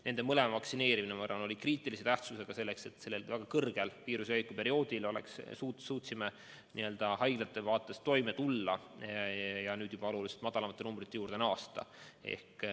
Nende mõlema vaktsineerimine, ma arvan, oli kriitilise tähtsusega, et me viiruse väga kiire leviku perioodil suutsime haiglates toime tulla ja nüüd juba oluliselt madalamate numbrite juurde naasta.